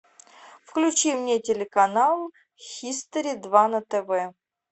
включи мне телеканал хистори два на тв